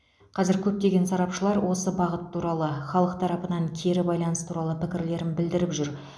қазір көптеген сарапшылар осы бағыт туралы халық тарапынан кері байланыс туралы пікірлерін білдіріп жүр